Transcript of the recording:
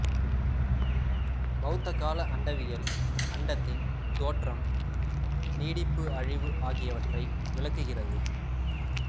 பௌத்த கால அண்டவியல் அண்டத்தின் தோற்றம் நீடிப்பு அழிவு ஆகியவற்றை விளக்குகிறது